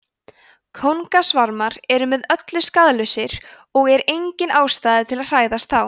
kóngasvarmar eru með öllu skaðlausir og er engin ástæða til að hræðast þá